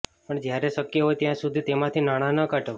પણ જ્યારે શક્ય હોય ત્યાં સુધી તેમાંથી નાણા ન કાઢો